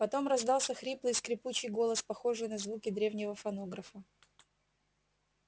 потом раздался хриплый скрипучий голос похожий на звуки древнего фонографа